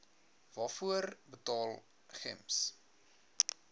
waarvoor betaal gems